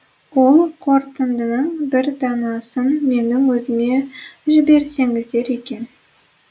ол қортындының бір данасын менің өзіме жіберсеңіздер екен